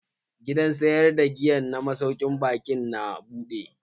Gidan sayar da giya na masaukin baƙin na buɗe.